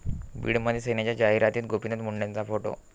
बीडमध्ये सेनेच्या जाहिरातीत गोपीनाथ मुंडेंचा फोटो